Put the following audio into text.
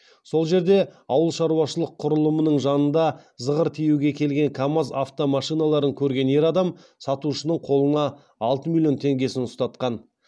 сол жерде ауылшаруашылық құрылымының жанында зығыр тиеуге келген камаз автомашиналарын көрген ер адам сатушының қолына алты миллион теңгесін ұстатқан